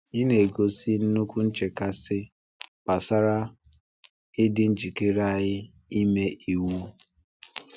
Ị na-egosi nnukwu nchekasị gbasara ịdị njikere anyị ime iwu.